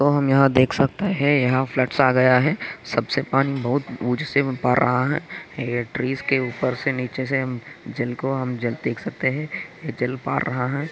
तो हम यह देख सकते है। यहाँ फ्लूड्स आ गया है। सबसे पानी बहुत उंच से भर रहा है। ट्रीज के ऊपर से निचे से जिनको हम देख सकते है। यह जल पार रहा है।